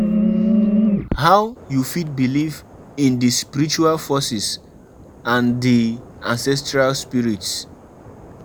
I don package di moni wey I go use run my husband my husband birthday party.